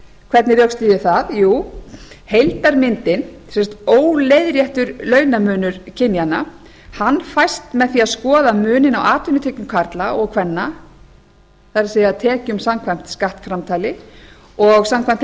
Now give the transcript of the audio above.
hvernig rökstyð ég það jú heildarmyndin sem sagt óleiðréttur launamunur kynjanna fæst með því að skoða muninn á atvinnutekjum karla og kvenna það er tekjum samkvæmt skattframtali og samkvæmt